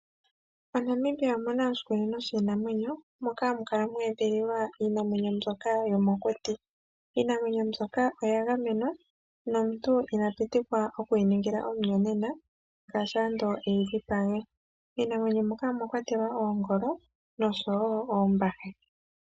MoNamibia omuna oshikunino shiinamwenyo moka hamu kala mweedhililwa iinamwenyo mbyoka yomokuti. Iinamwenyo mbyoka oya gamenywa, nomuntu ina pitikwa okuyi ningila omuyonena ngaashi ando eyidhipage. Iinamwenyo mbyoka omwakwatelwa oongolo nosho wo oombahe.